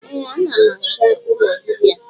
Ee, anam aga ụlọ dibia